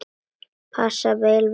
Passar vel við hann.